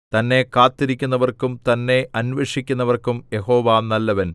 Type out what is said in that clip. തന്നെ കാത്തിരിക്കുന്നവർക്കും തന്നെ അന്വേഷിക്കുന്നവനും യഹോവ നല്ലവൻ